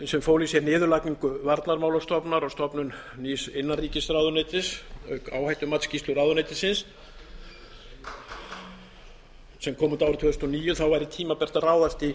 sem fólu í sér niðurlagningu varnarmálastofnunar og stofnun nýs innanríkisráðuneytis auk áhættumatsskýrslu ráðuneytisins sem kom út árið tvö þúsund og níu væri tímabært að ráðast í